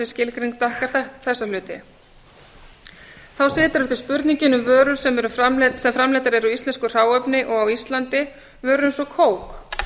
skilgreining dekkar því þessa hluti þá situr eftir spurningin um vörur sem framleiddar eru úr íslensku hráefni og á íslandi vörur eins og